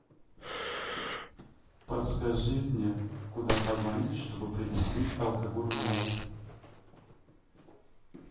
подскажи мне куда позвонить чтобы принесли алкоголь в номер